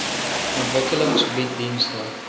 ontwikkeling bied dienste